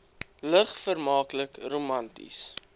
lig vermaaklik romanties